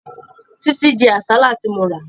Títí jẹ àsálà tí mo rà